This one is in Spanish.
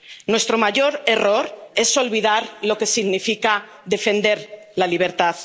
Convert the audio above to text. Nuestro mayor error es olvidar lo que significa defender la libertad.